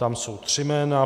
Tam jsou tři jména.